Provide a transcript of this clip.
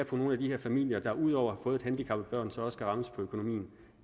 for nogle af de her familier der ud over at fået et handicappet barn så også skal rammes på økonomien